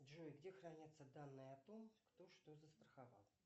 джой где хранятся данные о том кто что застраховал